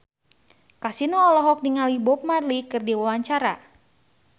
Kasino olohok ningali Bob Marley keur diwawancara